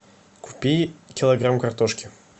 купи килограмм картошки